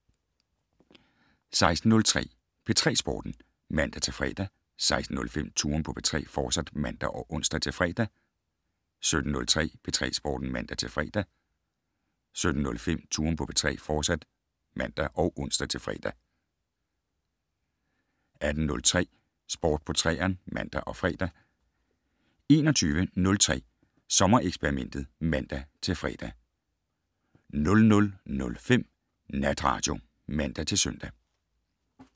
16:03: P3 Sporten (man-fre) 16:05: Touren på P3, fortsat (man og ons-fre) 17:03: P3 Sporten (man-fre) 17:05: Touren på P3, fortsat (man og ons-fre) 18:03: Sport på 3'eren (man og fre) 21:03: Sommereksperimentet (man-fre) 00:05: Natradio (man-søn)